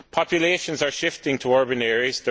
Populations are shifting to urban areas